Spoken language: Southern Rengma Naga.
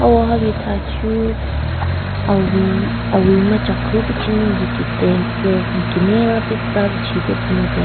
Hawa hali thachu awi awi machakhu pichinu yikitheng tsü mikekina la pi tsü tsü mupen.